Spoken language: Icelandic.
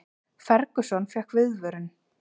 Ferguson fékk viðvörun